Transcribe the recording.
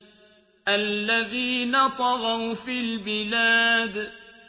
الَّذِينَ طَغَوْا فِي الْبِلَادِ